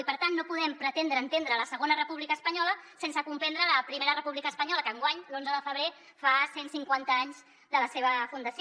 i per tant no podem pretendre entendre la segona república espanyola sense comprendre la primera república espanyola que enguany l’onze de febrer fa cent cinquanta anys de la seva fundació